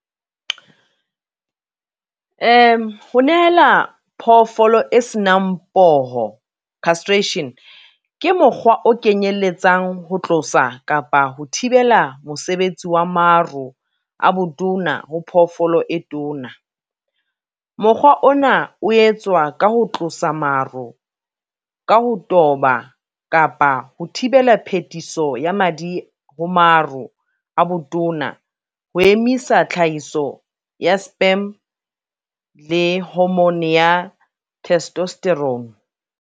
Ho nehela phoofolo e senang poho castration, ke mokgwa o kenyeletsang ho tlosa kapa ho thibela mosebetsi wa maro a botona ho phoofolo e tona. Mokgwa ona o etswa ka ho tlosa maro, ka ho toba kapa ho thibela phetiso ya madi ho maro a botona ho emisa tlhahiso ya sperm le hormone ya testosterone.